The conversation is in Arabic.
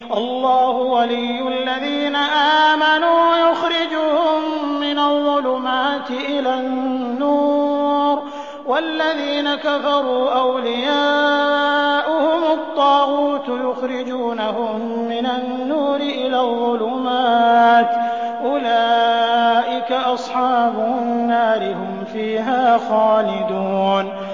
اللَّهُ وَلِيُّ الَّذِينَ آمَنُوا يُخْرِجُهُم مِّنَ الظُّلُمَاتِ إِلَى النُّورِ ۖ وَالَّذِينَ كَفَرُوا أَوْلِيَاؤُهُمُ الطَّاغُوتُ يُخْرِجُونَهُم مِّنَ النُّورِ إِلَى الظُّلُمَاتِ ۗ أُولَٰئِكَ أَصْحَابُ النَّارِ ۖ هُمْ فِيهَا خَالِدُونَ